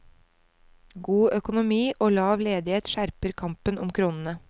God økonomi og lav ledighet skjerper kampen om kronene.